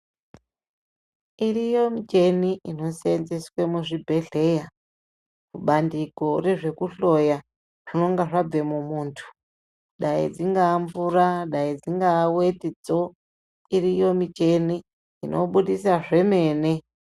Iriyo micheni inosenzeswe muzvibhehleya kubandiko rezvekuhloya zvinonga zvabva mumuntu dai dzingaamvura, daidzingaawetidzo ,iriyo micheni inobudisa zvemene.